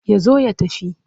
Ya zo ya tafi.